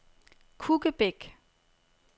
Kukkebæk